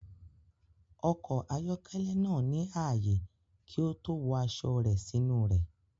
Ọkọ̀ ayọ́kẹ́lẹ́ náà ní ààyè kí ó tó wọ aṣọ rẹ̀ sínú rẹ̀.